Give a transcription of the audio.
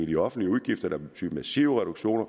de offentlige udgifter der vil betyde massive reduktioner